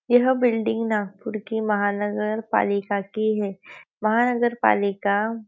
यह बिल्डिंग नागपुर के महानगर पालिका की है महा नगर पालिका --